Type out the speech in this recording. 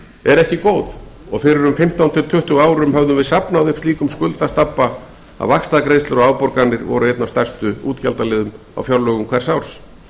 er ekki góð og fyrir um fimmtán til tuttugu árum höfðum við safnað upp slíkum skuldastabba að vaxtagreiðslur og afborganir voru einn af stærstu útgjaldaliðum á fjárlögum hvers árs